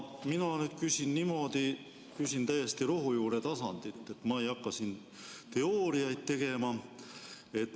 Ma küsin niimoodi, küsin täiesti rohujuure tasandil, ma ei hakka siin teooriaid tegema.